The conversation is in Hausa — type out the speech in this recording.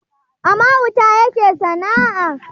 A mahauta yake sana`a